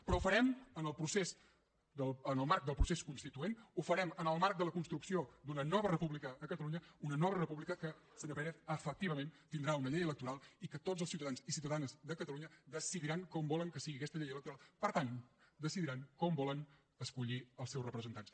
però ho farem en el marc del procés constituent ho farem en el marc de la construcció d’una nova república a catalunya una nova república que senyor pérez efectivament tindrà una llei electoral i en què tots els ciutadans i ciutadanes de catalunya decidiran com volen que sigui aquesta llei electoral per tant decidiran com volen escollir els seus representants